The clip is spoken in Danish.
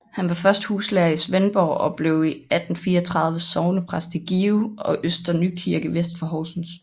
Han var først huslærer i Svendborg og blev i 1834 sognepræst i Give og Øster Nykirke vest for Horsens